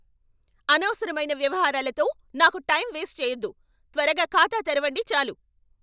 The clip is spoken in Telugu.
అనవసరమైన వ్యవహారాలతో నాకు టైం వేస్ట్ చెయ్యొద్దు. త్వరగా ఖాతా తెరవండి చాలు!